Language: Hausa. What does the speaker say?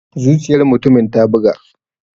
Zuciyar mutumin ta buga.